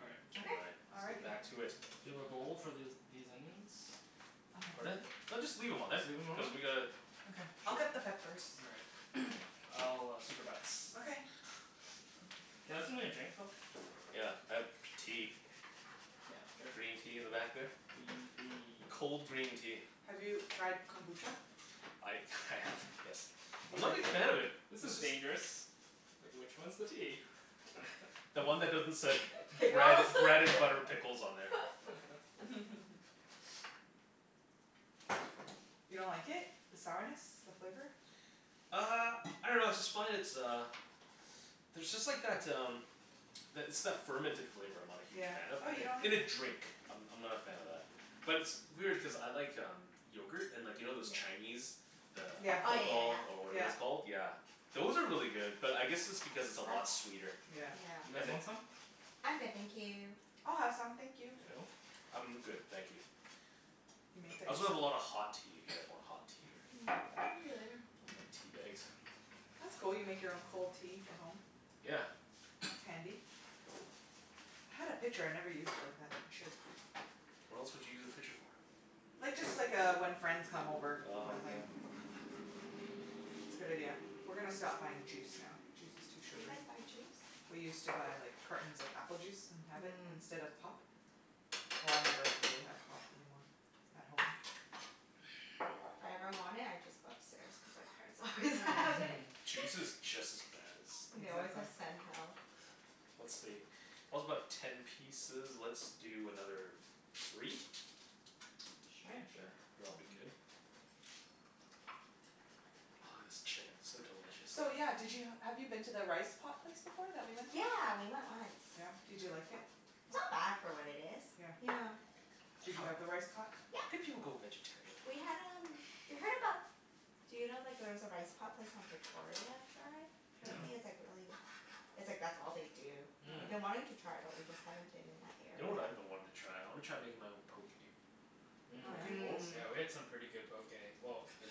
All right. All Okay. right. Let's get Alrighty. back to it. Do you have a bowl for this these onions? Pardon? No. just leave them on Just leave them on Cuz there? we gotta Okay, I'll cut the peppers. All right. I'll supervise. Okay Can I have something to drink, Phil? Yeah, I have tea. Yeah, sure. Green tea in the back there. Green tea. Cold green tea. Have you tried kombucha? I I have, yes. I'm not a big fan of it. This is dangerous. Like, which one's the tea? The one that doesn't said bread Pickles bread and butter pickles on there. You don't like it? The sourness? The flavor? Uh, I dunno I just find it's uh, there's just like that um that it's that fermented flavor I'm not a huge Yeah. fan of Oh, you don't like In a it? drink, I'm I'm not a fan of that. But it's- it's weird, cuz I like um, yogurt. And you know those Chinese, the Yeah, Oh, yeah, yeah, pathal, or whatever it's yeah. called. yeah. Yeah, those are really good. But I guess it's because it's a lot sweeter. That's You yeah. Yeah. guys want some? I'm good thank you. I'll have some, thank you. Phil? I'm good, thank you. You make that I also have yourself? a lot of hot tea, if you guys want hot tea or Maybe later. I want tea bags. That's cool, you make your own cold tea for home. Yeah. That's handy. I had a pitcher, I never used it like that. I should. What else would you use a pitcher for? Like, just like uh, when friends come over kinda thing. Oh, yeah. It's a good idea. We're gonna stop buying juice now. Juice is too You sugary. guys buy juice? We used to buy like cartons of apple juice and have it Mhm. instead of pop. Well, I never really have pop anymore at home. If I ever want it, I just go upstairs, cuz my parents always have it. Juice is just as bad And they as always Exactly. have Sental. Let's see. about ten pieces. Let's do another, three? Sure. Yeah, Yeah, sure. and it'll be good? Ah this chicken, so delicious. So yeah, did you have you been to the rice pot place before that we went to? Yeah, we went once. Yeah? did you like it? It's not bad for what it is. Yeah Yeah. Did you have the rice pot? How could Yeah. you go vegetarian? We had um we heard about. Do you know like there's a rice pot place on Victoria I tried? Mm- mm. Apparently, it's like really it's like that's all they do. We've Mhm. been wanting to Mhm. try it, but we just haven't been in that You know area. what I've been wanting to try? I want to try making my own. Poke Oh Mhm. yeah? bowls? Mhm, yeah. Mhm. Yeah, we had some pretty good poke. Well, In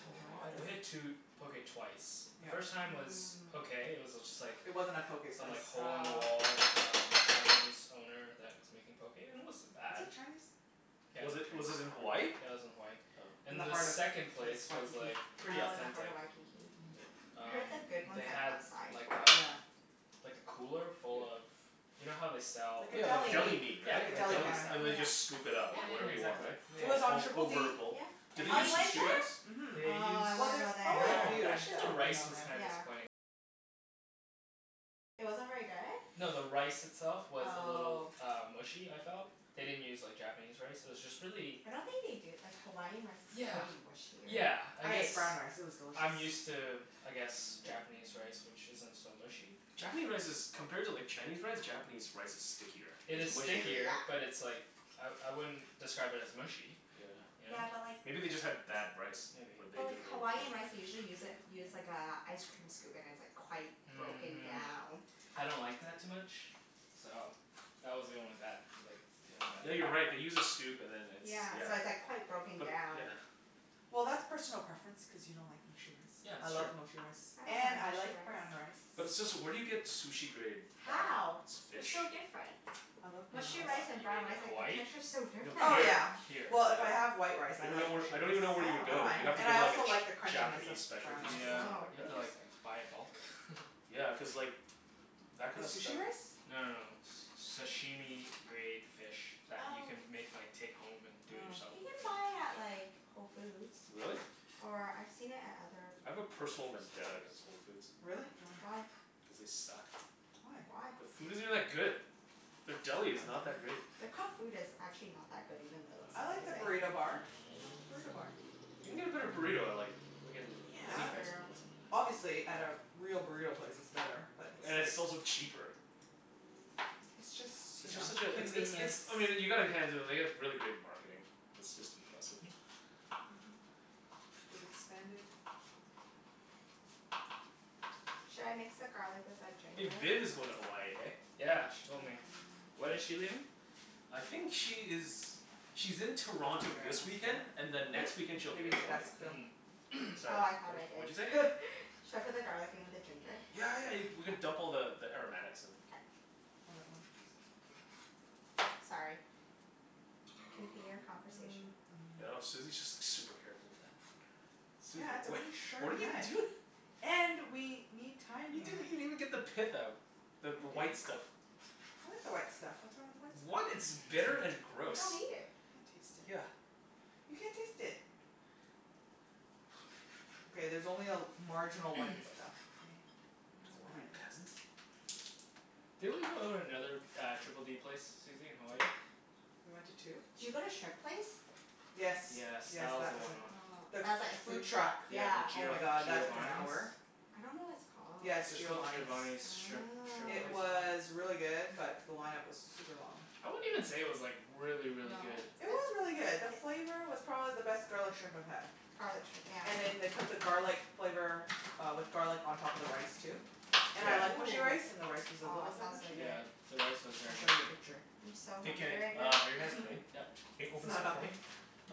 we had two Hawaii poke twice. The Yeah. first time was okay. It was just like It wasn't a poke Some place. like hole in Mmm. the Oh. wall um, Cantonese owner that was making poke and it wasn't Was bad. it Chinese? Yeah it Was was it was it in Hawaii? Chinese. Yeah it was in Hawaii. Oh. In the And the heart of second Wa- place was Waikiki. like, pretty Oh, in the heart authentic. of Waikiki. Mhm. Oh. I heard Um, that good they ones had like um Yeah. like a cooler full of, you know how they sell Like a like Yeah, like deli deli Yeah, meat, meat. Like a right? like deli deli counter. And then they Yeah, Yeah, just scoop it yeah, up, yeah. like whatever yeah, you Yeah. want, exactly. Yeah, It was right? on All Triple D yeah. over a bowl. Yeah. Did and they Oh you use the Beach went sushi Street, rice? there? mhm. Oh, I Well, wanna there's go probably a there. few that have been on there. Yeah. No, the rice itself was a little Oh. uh mushy, I felt. They didn't use like Japanese rice, it was just really I don't think they do, like Hawaiian rice is Yeah, pretty mushier. yeah, I I guess ate brown rice. It was delicious. I'm used to, I guess Japanese rice which isn't so mushy. Japanese rice is compared to like Chinese rice, Japanese rice is stickier, It it's is It's sticky, mushier stickier, but yeah. it's like, I I wouldn't describe it as mushy, you know? Yeah. Yeah, but like Maybe they just had bad rice, Maybe or they But like Hawaiian rice, they usually use a use like a ice cream scoop and like it's quite broken Mhm down. I don't like that too much, so that was the only that like that was the only Yeah, you're right. They bad thing. use a scoop and then it's, Yeah, yeah. so it's like quite broken But, down. yeah. Well, that's personal preference, cuz you don't like mushy rice. Yeah I that's true. love mushy rice I don't and mind I mushy like brown rice. rice. But where do you get sushi-grade, uh How? They're fish? so different. I love brown In Mushy rice Hawa- and you brown mean rice. rice, in like the Hawaii? texture's so No, different. Oh here, yeah, here, Here. well, if I have yeah. white rice, I I don't even like kno- mushy I rice. don't even know where you would I don't go. mind. You'd have to Oh. And go I to also like the a crunchiness of Japanese brown specialty rice. store or Yeah, Oh, something like you have that. to like interesting. buy it bulk. Yeah, cuz like that The kind of stuff sushi rice? No no it's no, s- sashimi grade fish that you Oh. can make like take home and do it Oh. yourself. You can buy it at like, Whole Foods. Really? Or I've seen it at other I have a grocery personal vendetta stores. against Whole Foods. Really? Why? Why? Cuz they suck. Why? Why? The food isn't that good. Their deli is not that great. Their cooked food is actually not that good, even though it looks I like the amazing. burrito bar. Nothin' wrong with the burrito bar. You can get a better burrito I like. Yeah. It's fair. Obviously, at like a real burrito place, it's better. But it's And it's like also cheaper. It's It's just you know, just such a it's it's convenience. it's I mean you gotta hand it to them, they have really great marketing. It's just impressive. Mhm. They've expanded. Should I mix the garlic with the Hey, ginger? Vin is going to Hawaii, hey? Yeah, she told me. Um When When? is she leaving? I think she is, she's in I'm Toronto not this sure, weekend and ask then next Phillip. weekend, she'll be Maybe in you Hmm? should Hawaii. ask Phil. Mhm Sorry, Oh, I thought wha- I what'd you say? did Should I put the garlic in with the ginger? Yeah, yeah, you we can dump all the the aromatics in. K. All at once. Sorry, continue your conversation. I know, Susie's just like super careful with that. Susie, Yeah it's a wha- really what are sharp you knife. doi-? And, we need time You didn't here. even even get the pith No out, the I the didn't. white stuff. I like the white stuff. What's wrong with the white What? stuff? It's bitter and You gross." don't Can't eat it. taste Yeah. it. You can't taste it. Okay, there's only a marginal white stuff, okay? It's What are we? fine. Peasants? Didn't we go to another uh, Triple D place Susie, in Hawaii? We went to two? Did you go to shrimp place? Yes, Yes, yes, that was that the was line it. Ah, The one. that's like a food food truck, truck. Yeah, the yeah. Oh Gio- my god that took an Giovani's. hour. I don't know what it's called. Yeah it's It was called Giovani's. Giovani's shrimp shrimp It place or Oh. was something? really good, but the line-up was super long. I wouldn't even say it was like, really, really No? good It was really good. The flavor was probably the best garlic shrimp I've had. Garlic shrimp, yeah. And then they put the garlic flavor uh, with garlic on top of the rice too. And I Yeah. like mushy rice and the rice was Ooh, a aw, little bit sounds so mushy. Yeah, good. the rice was I'll very show ya a mushy. picture. I'm so Hey hungry Kenny, right uh now are your hands clean? Yep. Hey it's open this not up for me? helping?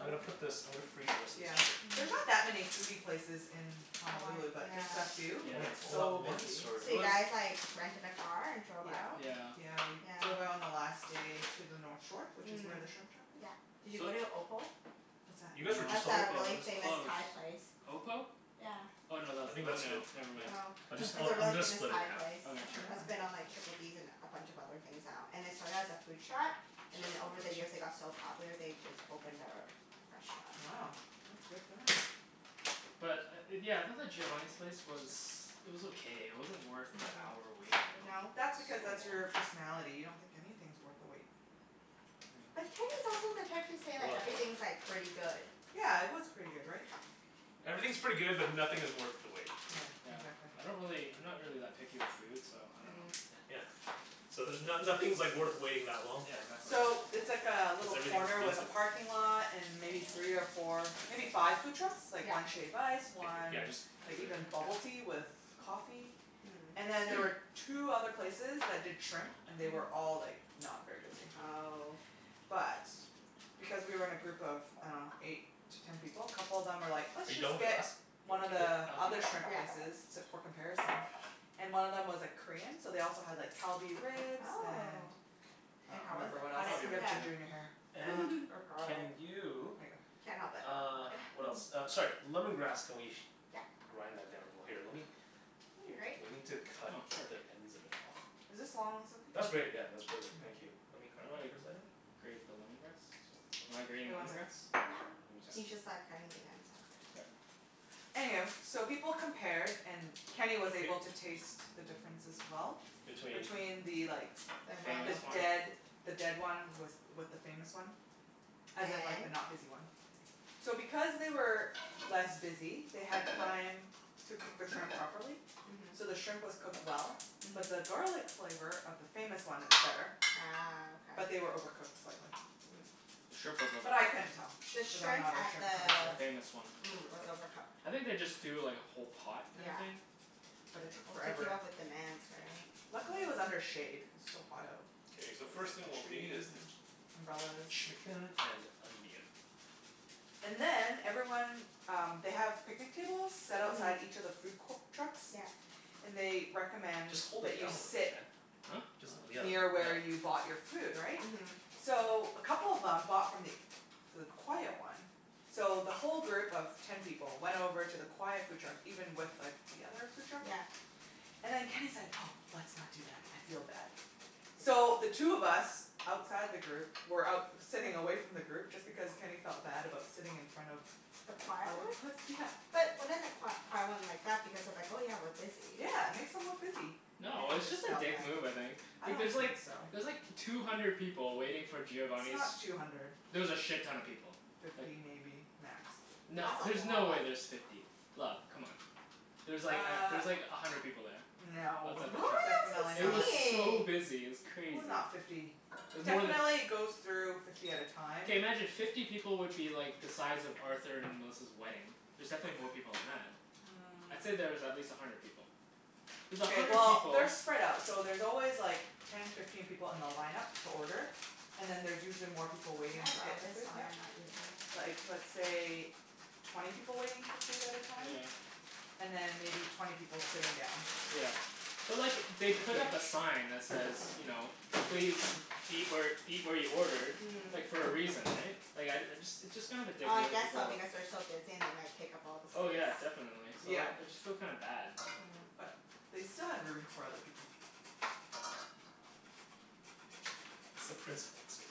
I'm gonna put this I'm gonna freeze the rest of this Yeah. chicken. There's not that Hm. many foodie places in Hawaii, Honolulu, but just the yeah. few who Yeah. Want get it all at so once, busy. or? So It you was guys like, rented a car and drove Yeah, out? Yeah. yeah we drove out Yeah. on the last day to the north shore, which is Mhm, where the shrimp truck is. yeah. Did you So go to Opal? What's that? You guys were That's just on No, a the Opal, it really was famous closed. Thai place. Opal? Yeah. Oh, no tha- I think oh that's good, no, never m- mind. Oh, I'll jus- it's a really I'm gonna famous split it Thai half. place Oh Okay, sure. That's wow. been on Triple Ds and a bunch of other things now. And they started as a food truck So I have and then to over open the this. years they got so popular, they just opened their restaurant. Wow, that's good for them. But uh yeah, I thought the Giovani's place was it was okay. It wasn't worth the hour Mhm. wait though. No? That's So because, long. that's your personality. You don't think anything's worth the wait. But Kenny's Yeah. also the type to say Hold like, on, hold on. everything's like, pretty good. Yeah, it was pretty good, right? Everything's pretty good, but nothing is worth the wait. Yeah, Yeah, exactly. I don't really I'm not really that picky with food so I don't know. Mm. Yeah, so there's no- nothing's like worth waiting that long Yeah, for. exactly. Cuz So, it's like a little everything's corner with decent. a parking lot and maybe three or four, maybe five food trucks? Like Yeah. one shave ice, one yeah just like leave it here, even bubble tea yeah. with coffee. And then there Mm. were two other places that did shrimp. And they were Mhm. all like, not very busy. Oh. But, because we were in a group of I dunno, eight to ten people, a couple of them were like, "Let's Are you just going to get one of the other shrimp places". I'll keep it Yeah. for comparison. And one of them was like Korean, so they also had like Kalbi ribs and Oh. And I And don't how was remember it? what How else. did it Kalbi You have ribs, compare? ginger in your hair. yeah. And or can garlic. There you, ya go. Can't help it uh what else? Uh sorry. Lemon grass. Can we Yeah. grind that down more? Here lemme, Need a grate? we need to cut Oh sure. the ends of it off. Is this long ones That's okay? great yeah, All that's perfect. Thank you. Let right. me How grab do that I for a second. grate the lemon grass? Am I grating Wait, one lemon sec grass? Yeah, he's just Okay. like cutting the ends off or Okay. something. Anywho, so people compared and Thank Kenny you. was able to taste the difference as well. Between? between the like, the Famous one? dead the dead one with with the famous one. As in like the And? not busy one. So because they were less busy, they had time to cook the shrimp properly. Mhm. So the shrimp was cooked well, but the Mhm. garlic flavor of the famous one, it was better. Ah. But Okay. they were overcooked slightly. The shrimp Mm. was But I overcooked. couldn't tell The because I'm shrimp not a at shrimp the The connoisseur. famous one was mm was overcooked. overcooked. I think they just do like a whole pot kinda Yeah. thing. But it took forever. Luckily, it was Uh under shade, cuz it's so hot out. Okay, It's so the like first thing the we'll need trees is the, and umbrellas. chicken and onion. And then everyone um, they have picnic tables, set outside each Mhm. of the food co- trucks, Yeah. and they recommend Just hold that it you down sit Huh? Jus- yeah, near yeah. where you Oh bought your food, right? Mhm. So a couple of them bought from th- the quiet one. So the whole group of ten people went over to the quiet food truck even with like the other food truck. Yeah. And then Kenny's like, "Oh, let's not do that, I feel bad." So, the two of us outside the group were out sitting away from the group just because Kenny felt bad about sitting in front of The the quiet other one? bus, yeah. But wouldn't the qui- quiet one like that because they're like, "Oh yeah, we're busy." Yeah, it makes them look busy. No, Kenny it was just just a felt dick bad. move I think. I Like don't there's think like, so. there's like two hundred people waiting for It's Giovani's not two hundred. There was a shit-ton of people, like Fifty maybe, max. No, That's a there's no way lot. there's fifty, love, c'mon. There's like Uh, there's like a hundred people there. no. Outside the Really? truck. Definitely, It That's was not. so insane! busy, it was It was crazy. not fifty. It was more tha- Definitely goes through fifty at a time. Okay, imagine fifty people would be like the size of Arthur and Melissa's wedding. There's definitely more people than that. I'd say that there's at Mm. least a hundred people. There's a OK, hundred well people they're spread out. So there's always like ten, fifteen people in the line-up to order. And then there's usually more people Can waiting I to get borrow their this food, while yeah. you're not using Like, it? let's say twenty people waiting for food at a time? And Yeah. then maybe twenty people sitting down. Yeah. But look it, they put up a sign that says you know, please Fiftyish eat where eat where you ordered Mm. like, for a reason, eh? Like, I uh, it's just kind of a dick I move to guess go so, up because they're so busy and they might take up all the Oh space. yeah, definitely. So Yeah, like, I just feel kinda bad. but Oh. they still had room for other people. It's the principle too.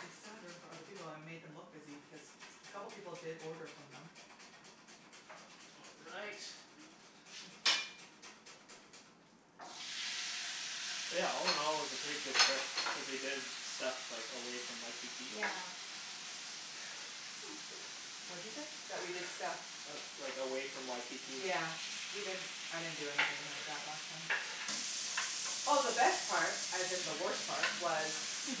They still had room for other people and we made them look busy because a couple of people did order from them. All right. Thank you. Yeah, all- in- all, it was a pretty good trip, cuz we did stuff like away from Waikiki. Yeah. What you say? That we did stuff? Like away from Waikiki. Yeah, we didn't I didn't do anything like that last time. Oh, the best part, as in the worst part was.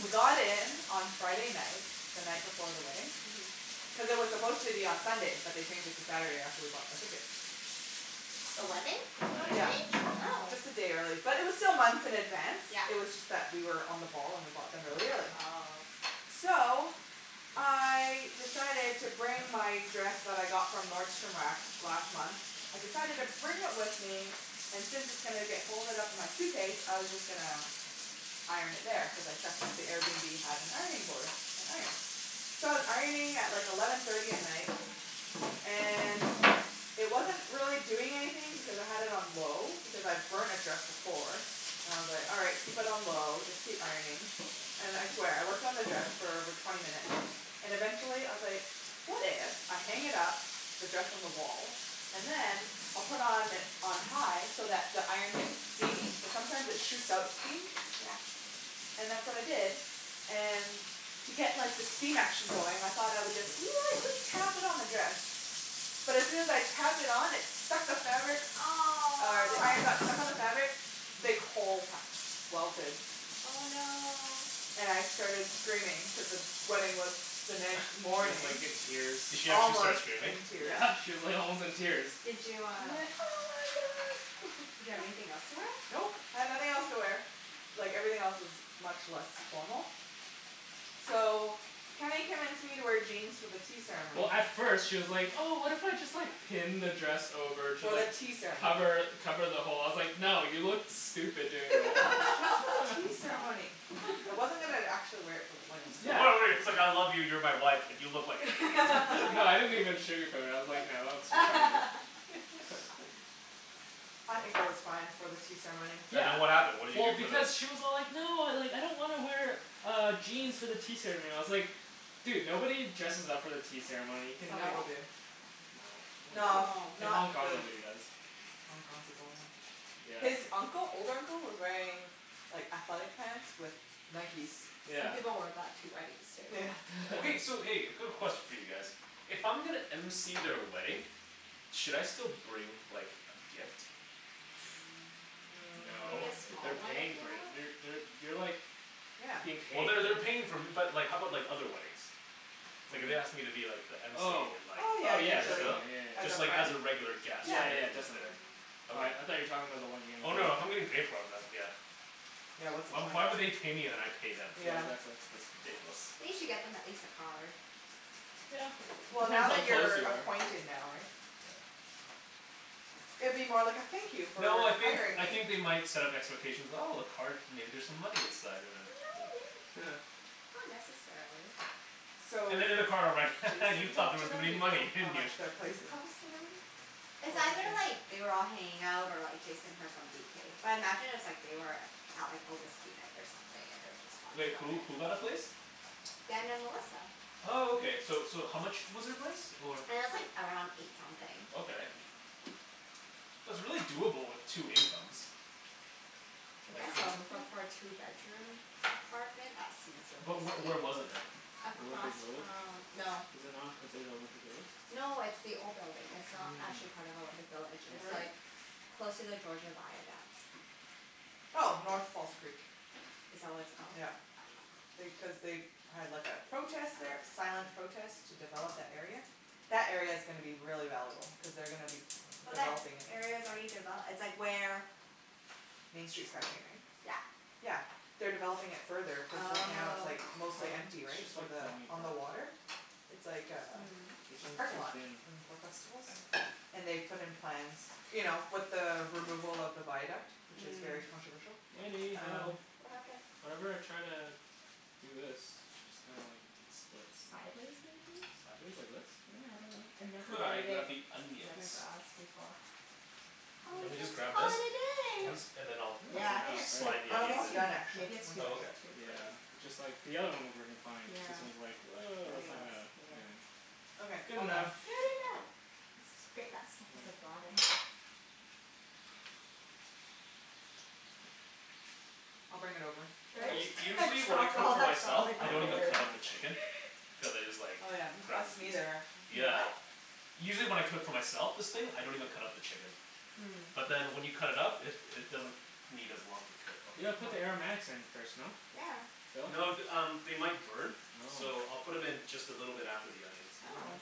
We got in on Friday night, the night before the wedding, Mhm. cuz it was supposed to be on Sunday but they changed it to Saturday after we bought our ticket. The wedding? The That wedding, yeah. Yeah, changed? Oh. just a day early. But it was still months in advance, Yeah. it was just that we were on the ball and we bought them really early. Oh. So, I decided to bring my dress that I got from Nordstrom Rack last month. I decided to bring it with me and since it's gonna get folded up in my suitcase, I was just gonna iron it there, cuz I checked that the Airbnb have an ironing board, an iron. So I was ironing at like eleven thirty at night and it wasn't really doing anything because I had it on low because I've burnt a dress before, and I was like, "All right, keep it on low, just keep ironing." And I swear, I worked on the dress for over twenty minutes and eventually I was like, "What if I hang it up, the dress on the wall, and then, I'll put on on high so that the iron gets steamy?" Cuz sometimes it shoots out steam. Yeah. And that's what I did. And to get like the steam action going, I thought I would just lightly tap it on the dress. But as soon as I tapped it on, it stuck to the fabric, uh the iron got Aw! stuck to the fabric big hole ha- welted Oh no. And I started screaming cuz the wedding was the She next was morning. like in tears. Did she actually start Almost screaming? in tears. Yeah, she was like almost in tears. Did you I uh went, "oh my god!" Did you have anything else to wear? Nope, I had nothing else to wear. Like, everything else was much less formal. So, Kenny convinced me to wear jeans for the tea Well, ceremony. at first, she was like, "Oh, what if I just like pin the dress over to For the like tea ceremony. cover cover the hole?" I was like, "No, you look stupid doing Just for the that." tea ceremony. I wasn't even actually wear it for the wedding it's like I love you, you're my wife, but you look like an idiot. No I didn't even sugarcoat it. I was like, "No, that looks retarded" I think it was fine for the tea ceremony. And then what happened? What did you Well, do for the? because she was all like, "No, I don't want to wear uh jeans for the tea ceremony." I was like, "Dude, nobody dresses up for the tea ceremony. You can Some like" people No? do. No, nobody No, does. No! In not Hong Kong, the nobody does. Hong Kong people, yeah. Yeah. His uncle old uncle was wearing like athletic pants with Nikes. Some Yeah. people wear that to weddings too. Yeah. Okay, so hey, a quick question for you guys. If I'm gonna MC their wedding, should I still bring like a gift? No. Maybe a Mm. small They're one if paying you for it. want. You're they're you're like Yeah. being Well, paid. they're they're paying for but like how about like other weddings? What Like do if you they mean? asked me to be like the MC Oh in like, Oh yeah, oh should yeah, I usually. still? definitely. Yeah, yeah, As a Just like friend? as a yeah. regular guest, Yeah. Yeah, right? yeah I'm just there. definitely. Mhm. Okay. I I thought you were talking about the one you were getting Oh paid no, if I'm for. getting paid for, I'm not, yeah. Yeah, what's the point? Why would they pay me and I pay them? Yeah. that's why. That's ridiculous. They should get them at least a card. It Well, depends now how that close you're you are. acquainted now, right? Yeah. It'd be more like a thank you for No, I think hiring I me. think they might set up expectations, "Oh, a card, maybe there's some No, money inside," and then, yeah. may- not necessarily. So, And then in the card I'll write, "Ha ha, you Jason thought talked there to was gonna them. Do be you know money, how didn't you?" much their place cost and everything? It's either like, they were all hanging out or like Jason heard from BK. But I imagine it was like they were out like on whiskey night or something and they were just talking Like about who? it. Who got a place? Dan and Melissa. Oh, okay. So so how much was their place or? It was like around eight something. Okay, that's really doable with two incomes. I Like guess eight so, something? but for a two bedroom apartment that seems But really wh- steep. where was it though? Olympic Across Village. from, no. Is it not considered Olympic Village? No, it's the old building. It's not actually Mm. part of Olympic Village. I see. It's Where is like it? close to the Georgia Viaduct. Oh. North False Creek. Is that what it's called? Yeah. They, cuz they had like a protest there. Silent protest to develop that area. That area's gonna be really valuable cuz they're gonna be But that developing it. area's already devel- it's like where Main Street SkyTrain, right? Yeah. Yeah. They're developing it further cuz right now it's Oh. like Oh, mostly empty, it's right? just For like the, falling on apart. the water? It's like a Mm. This just one's parking too lot. thin. And for festivals. And they've put in plans, you know, with the removal of the viaduct, which is very Mm. controversial, Wenny, um help. What happened? Whenever I try to do this it just kinda like splits. Sideways, maybe? Sideways like this? Yeah, I dunno. I never Could I braided grab the onions? lemongrass before. Do Or you want Mm. me to just just grab call this? it a At day. Yep. least, and then I think I'll that's I'll Yeah, I like think half, it's too, right? slide the oh I'm maybe it's onions almost in? too, done, actually. maybe it's One too Oh, second. thin okay. to braid. Yeah, it just like, the other one was working fine but Yeah. this one's like, woah, I that's mean, not let's, gonna, yeah. anything. Okay. Good All done. enough. Good enough. Let's just grate that stuff at the Yeah. bottom. I'll bring it over. Did Phil? U- I usually just when I drop cook all for that myself garlic I on the don't even way pretty over? cut up the much. chicken. Cuz I just like Oh, yeah. Us grab the piece. neither, actually. You Yeah. what? Usually when I cook for myself, this thing, I don't even cut up the chicken. Mm. But then when you cut it up it it doesn't need as long to cook. You Okay. You gotta put the wanna aromatics in first, no? Yeah. Phil? No th- um, they might burn. Oh. So I'll put 'em in just a little bit after the onions. All Oh. right.